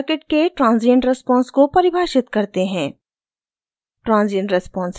पहले circuit के transient response को परिभाषित करते हैं